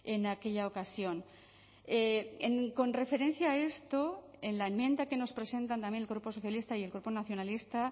en aquella ocasión con referencia a esto en la enmienda que nos presentan también el grupo socialista y el grupo nacionalista